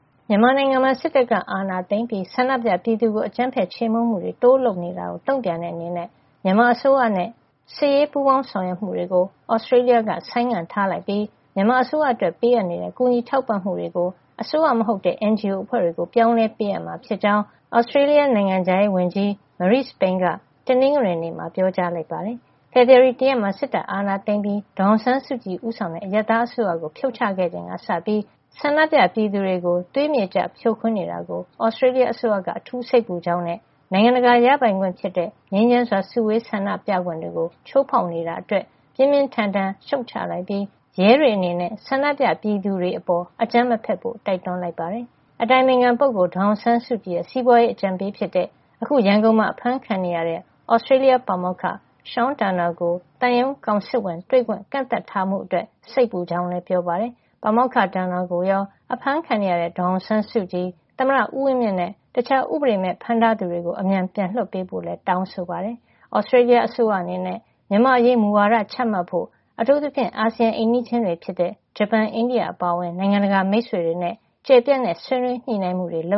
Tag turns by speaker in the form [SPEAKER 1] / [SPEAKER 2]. [SPEAKER 1] မြန်မာနိုင်ငံမှာ စစ်တပ်ကအာဏာသိမ်းပြီး ဆန္ဒပြပြည်သူကို အကြမ်းဖက်ချေမှုန်းမှုတွေ တိုးလုပ်လာနေတာကို တုန့်ပြန်တဲ့အနေနဲ့ မြန်မာအစိုးရနဲ့ စစ်ရေးပူးပေါင်းဆောင်ရွက်မှုတွေကို Australia က ဆိုင်းငံ့ထားလိုက်ပြီး မြန်မာအစိုးရ အတွက် ပေးအပ်နေတဲ့ ကူညီထောက်ပံ့မှုတွေကို အစိုးရမဟုတ်တဲ့ NGO အဖွဲ့တွေကို ပြောင်းလဲပေးအပ်မှာ ဖြစ်ကြောင်း Australia နိုင်ငံခြားရေးဝန်ကြီး Marise Payne က တနင်္ဂနွေနေ့မှာ ပြောကြားလိုက်ပါတယ်။ ဖေဖေါ်ဝါရီလ တရက်မှာ စစ်တပ်ကအာဏာသိမ်းပြီး ဒေါ်အောင်ဆန်းစုကြည် ဦးဆောင်တဲ့ အရပ်သား အစိုးကိုဖြုတ်ချခဲ့ချိန်ကစပြီး ဆန္ဒပြပြည်သူတွေကို သွေးမြေကျဖြိုခွင်းနေတာကို Australia အစိုးရက အထူးစိတ်ပူကြောင်းနဲ့ နိုင်ငံတကာရပိုင်ခွင့် ဖြစ်တဲ့ ငြိမ်းချမ်းစွာ စုဝေးခွင့် ဆန္ဒပြခွင့်တွေကိုပါ ချိုးဖေါက်နေတာအတွက် ပြင်းပြင်းထန်ထန် ရှုတ်ချလိုက်ပြီး ရဲတွေ အနေနဲ့ ဆန္ဒပြပြည်သူတွေ အပေါ်အကြမ်းမဖက်ဖို့ တိုက်တွန်းလိုက်ပါတယ်။ ဒါ့အပြင် အတိုင်ပင်ခံပုဂ္ဂိုလ် ဒေါ်အောင်ဆန်းစုကြည်ရဲ့ စီးပွါးရေးအကြံပေး ဖြစ်တဲ့ အခု ရန်ကုန်မှာ အဖမ်းခံနေတဲ့ Australia ပါမောက္ခ Sean Turnell ကို သံရုံးကောင်စစ်ဝန်တွေ့ခွင့် ကန့်သတ်မှုချထားတာ အတွက် စိတ်ပူကြောင်းလည်းပြောပါတယ်။ ပါမောက္ခ Turnell ကိုရော အဖမ်းခံနေရတဲ့ ဒေါ်အောင်ဆန်းစုကြည်၊ သမ္မတဦးဝင်းမြင့်နဲ့ တခြားဥပဒေမဲ့ ဖမ်းထားသူတွေကို. အမြန်ပြန်လွှတ်ပေးဖို့ လည်း တောင်းဆိုပါတယ်။ Australia အစိုးရအနေနဲ့ မြန်မာ့အရေးမူဝါဒ ချမှတ်ဖို့ အထူးသဖြင့် အာဆီယံရဲ့ အိမ်နီးချင်းတွေ ဖြစ်တဲ့ ဂျပန်နဲ့ အိန္ဒိယ အပါအဝင် နိုင်ငံတကာမိတ်ဆွေတွေနဲ့ ကျယ်ပြန့်တဲ့ ဆွေးနွေးညှိနှိုင်းမှုတွေ လု